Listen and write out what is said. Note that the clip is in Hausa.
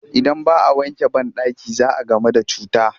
Idan ba a wanke banɗaki za a gamu da cuta